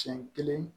Siɲɛ kelen